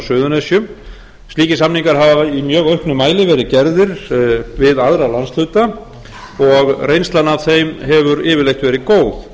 suðurnesjum slíkir samningar hafa í mjög auknum mæli verið gerðir við aðra landshluta og reynslan af þeim hefur yfirleitt verið góð